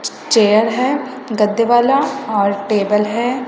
Chair है गद्दे वाला और टेबल है।